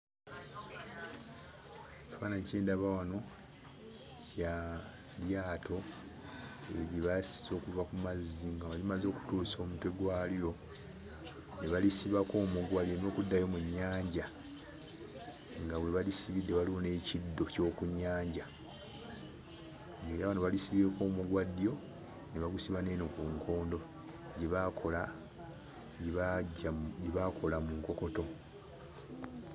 Ekifaananyi kye ndaba wano kya lyato lye baasise okuva ku mazzi nga wano limaze okutuusa omutwe gwalyo ne balisibako omuguwa lireme kuddayo mu nnyanja, nga we balisibidde waliwo n'ekiddo ky'oku nnyanja; ng'era wano balisibyeko omuguwa ddyo, ne bagusiba n'eno ku nkondo gye baakola gye baggya mu gye baakola mu nkokoto.